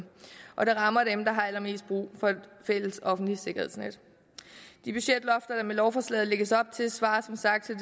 og det rammer dem der har allermest brug for et fælles offentligt sikkerhedsnet de budgetlofter der med lovforslaget lægges op til svarer som sagt til